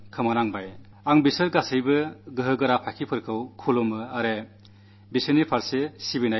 ഞാൻ ഈ വീരസൈനികരെയെല്ലാം നമിക്കുകയും അവർക്കു ശ്രദ്ധാഞ്ജലി അർപ്പിക്കുകയും ചെയ്യുന്നു